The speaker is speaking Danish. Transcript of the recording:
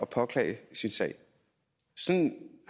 påklage sin sag sådan